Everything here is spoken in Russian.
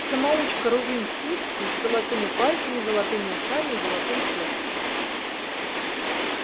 самоучка рувим свицкий с золотыми пальцами золотыми ушами и золотым сердцем